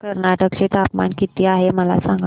आज कर्नाटक चे तापमान किती आहे मला सांगा